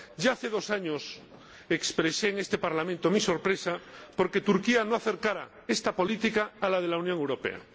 Ya hace dos años expresé en este Parlamento mi sorpresa por que Turquía no acercara esta política a la de la Unión Europea.